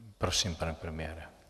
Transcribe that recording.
Prosím, pane premiére.